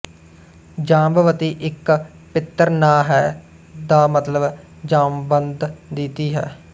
ਜਾਂਬਵਤੀ ਇੱਕ ਪਿੱਤਰ ਨਾਂ ਹੈ ਦਾ ਮਤਲਬ ਜਾਂਵਬੰਧ ਦੀ ਧੀ ਹੈ